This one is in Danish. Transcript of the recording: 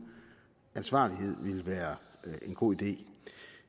ansvarlighed ville være en god idé